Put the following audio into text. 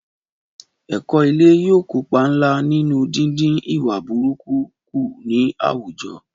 Ẹ̀kọ́ ilé yóò kópa ńlá nínú dídín ìwà búburú kù ní àwùjọ